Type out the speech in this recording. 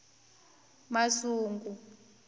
masungu